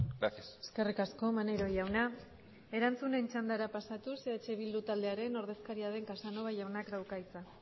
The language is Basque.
gracias eskerrik asko maneiro jauna erantzunen txandara pasatuz eh bildu taldearen ordezkaria den casanova jaunak dauka hitza